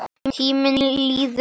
Tíminn líður hratt.